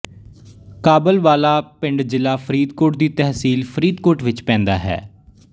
ਕਾਬਲ ਵਾਲਾ ਪਿੰਡ ਜ਼ਿਲਾ ਫਰੀਦਕੋਟ ਦੀ ਤਹਿਸੀਲ ਫਰੀਦਕੋਟ ਵਿੱਚ ਪੈਂਦਾ ਹੈ